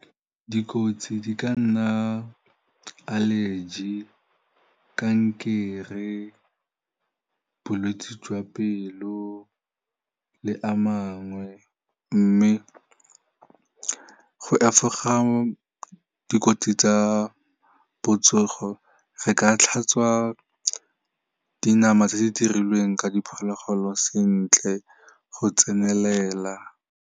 Dikotsi di ka nna allergy, kankere, bolwetsi jwa pelo le a mangwe mme go efoga dikotsi tsa botsogo re ka tlhatswa dinama tse di dirilweng ka diphologolo sentle go tsenelela.